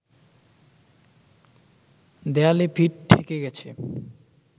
দেয়ালে পিঠ ঠেকে গেছে